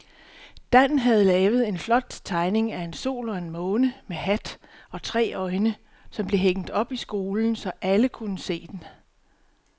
Dan havde lavet en flot tegning af en sol og en måne med hat og tre øjne, som blev hængt op i skolen, så alle kunne se den.